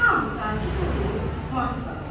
Hamı sakit olub mat qalır.